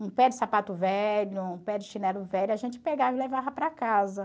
Um pé de sapato velho, um pé de chinelo velho, a gente pegava e levava para casa.